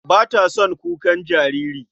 Ba ta son jin kukan jariri.